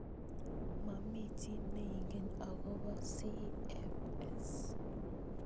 Momi chi neingen akobo CFS.